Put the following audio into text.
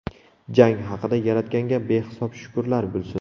Jang haqida Yaratganga behisob shukrlar bo‘lsin.